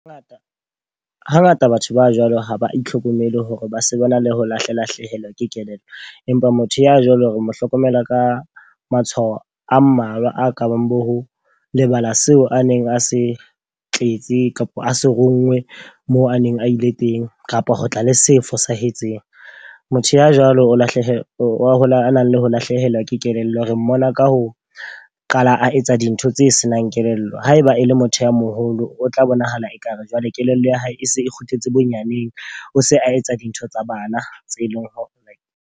Hangata batho ba jwalo ho ba itlhokomele hore ba se ba na le ho lahla lahlehelwa ke kelello. Empa motho ya jwalo re mo hlokomela ka matshwao a mmalwa a ka bang bo ho lebala seo a neng a se tletse kapa a se ronngwe moo a neng a ile teng, kapa ho tla le se fosahetseng. Motho ya jwalo o lahlehelwa wa a nang le ho lahlehelwa ke kelello. Re mmona ka ho qala a etsa dintho tse senang kelello. Haeba e le motho ya moholo, o tla bonahala ekare jwale kelello ya hae e se e kgutletse bonyaneng. O se a etsa dintho tsa bana tse leng hore.